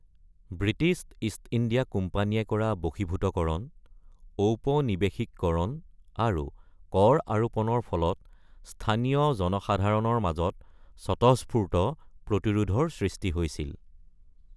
British East India কোম্পানীয়ে কৰা বশীভূতকৰণ, ঔপনিৱেশিককৰণ আৰু কৰ আৰোপণৰ ফলত স্থানীয় জনসাধাৰণৰ মাজত স্বতঃস্ফূৰ্ত প্ৰতিৰোধৰ সৃষ্টি হৈছিল।